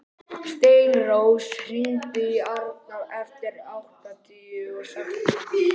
Steinrós, hringdu í Arnar eftir áttatíu og sex mínútur.